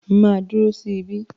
Màá dúró sí ibí.